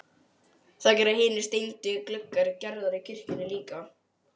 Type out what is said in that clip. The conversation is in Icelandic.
Það gera hinir steindu gluggar Gerðar í kirkjunni líka.